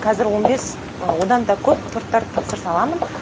қазір он бес одан да көп торттар тапсырыс аламын